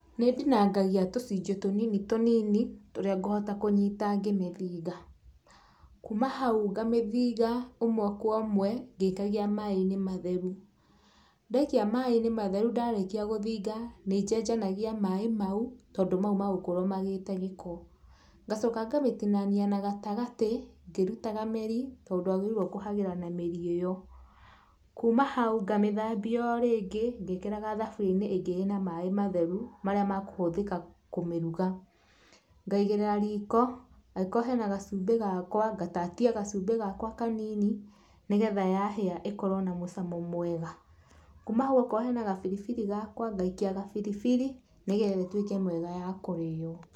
Nĩ ndinangagia tũcunjĩ tũnini tũnini tũrĩa ngũhota kũnyita ngĩmĩthiga. Kuma hau ngamĩthiga ũmwe kwa ũmwe ngĩikagia maĩ-inĩ matheru. Ndaikia maĩ-inĩ matheru ndarĩkia gũthiga nĩ njenjanagia maĩ mau tondũ mau magũkorwo magĩte gĩko. Ngacoka ngamĩtinania na gatagatĩ ngĩrutaga mĩri tondũ ndwagĩrĩiruo nĩ kũhagĩra na mĩri ĩyo. Kuma hau, ngamĩthambia o rĩngĩ ngĩkĩraga thaburia-inĩ ĩngĩ ĩ na maĩ matheru marĩa mekũhũthĩka kũmĩruga. Ngaigĩrĩra riko, angĩkorwo hena gacumbĩ gakwa, ngatatia gacumbĩ gakwa kanini nĩgetha yahĩa ĩkorwo na mũcamo mwega. Kuma hau okorwo hena gabiribiri gakwa, ngaikia gabiribiri nĩgetha ĩtuĩke mĩega ya kũrĩo.